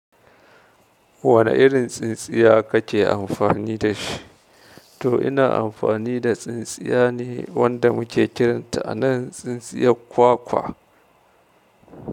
Wane irin tsintsiya kake amfani da shi? To ina amfani da tsintsiya ne wanda muke kiranta a nan tsintsiya kwakwa.